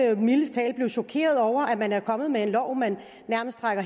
jo mildest talt blive chokeret over at man er kommet med en lov man nærmest trækker